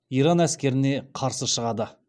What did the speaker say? иран әскеріне қарсы шығады